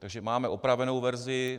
Takže máme opravenou verzi.